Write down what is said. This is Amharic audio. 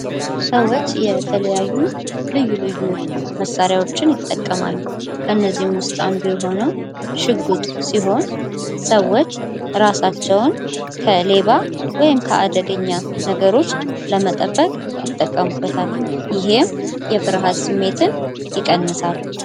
ሰዎች የተለያዩ ልዩ ልዩ መሣሪያዎችን ይጠቀማሉ። ከነዚህም ውስጥ አንዱ የሆነው ሽጉጥ ሲሆን ሰዎች እራሳቸውን ከሌባ ወይም ደግሞ ከአደገኛ ነገሮች ለመጠበቅ ይጠቀሙበታል ይህም የፍርሃት ስሜትን ይቀንሳል።